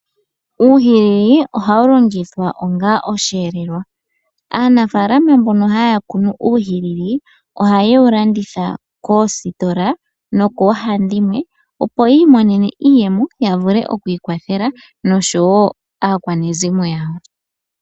Uuhilili ohawu longithwa onga oshiyelelwa. Aanafaalama mbono haya kunu uuhilili ohaye wu landitha koositola nokoohandimwe opo yiimonene iiyemo yavule okwiikwathela nosho wo aakwanezimo yawo.